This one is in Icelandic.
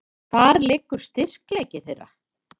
Hvar liggur styrkleiki þeirra?